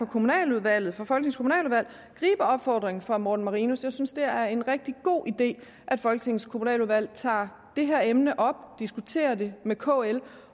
kommunaludvalg gribe opfordringen fra herre morten marinus jeg synes det er en rigtig god idé at folketingets kommunaludvalg tager det her emne op diskuterer det med kl